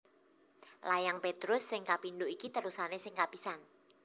Layang Petrus sing kapindho iki terusané sing kapisan